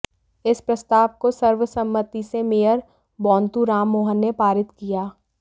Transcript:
इस प्रस्ताव को सर्वसम्मति से मेयर बोंतु राममोहन ने पारित किया